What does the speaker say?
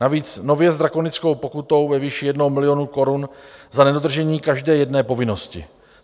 Navíc nově s drakonickou pokutou ve výši jednoho milionu korun za nedodržené každé jedné povinnosti.